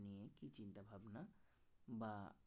বা